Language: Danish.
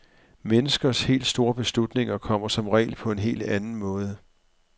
Menneskers helt store beslutninger kommer som regel på en helt anden måde.